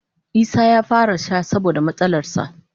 Isah ya fara sha saboda matsalarsa.